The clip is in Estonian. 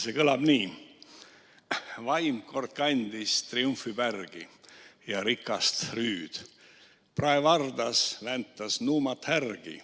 See kõlab nii: "Vaim, kandes kord triumfipärgi ja rikast rüüd, praevardas väntas nuumat härgi.